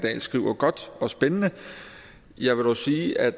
dahl skriver godt og spændende jeg vil dog sige at